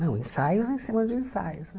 Não, ensaios em cima de ensaios, né?